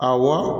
Awɔ